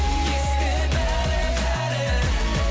есте бәрі бәрі